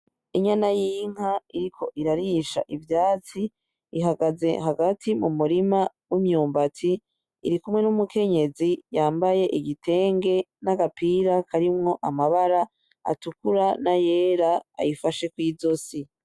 Inyana y'inka iriko irarisha ivyatsi, ihagaze hagati .u murima w'imyumbati ,irikumwe numukenyezi yambaye igitenge n'agapira karimwo amabara atukura nayera ayifashe kwizosi.